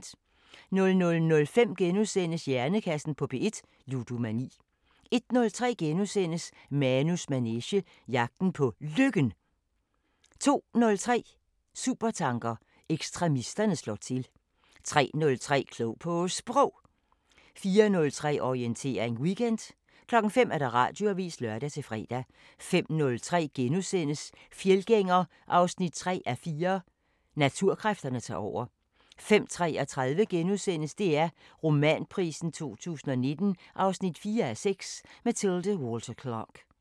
00:05: Hjernekassen på P1: Ludomani * 01:03: Manus manege: Jagten på Lykken * 02:03: Supertanker: Ekstremisterne slår til 03:03: Klog på Sprog 04:03: Orientering Weekend 05:00: Radioavisen (lør-fre) 05:03: Fjeldgænger 3:4 – Naturkræfterne tager over * 05:33: DR Romanprisen 2019 4:6 – Mathilde Walter Clark *